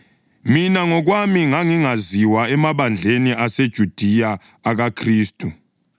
Mina ngokwami ngangingaziwa emabandleni aseJudiya akuKhristu.